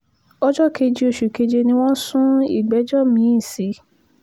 ọjọ́ keje oṣù keje ni wọ́n sun ìgbẹ́jọ́ mi-ín sí